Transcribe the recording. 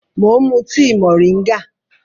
Mò ń mú tíì moringa